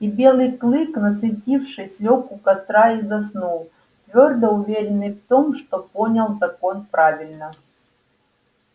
и белый клык насытившись лёг у костра и заснул твёрдо уверенный в том что понял закон правильно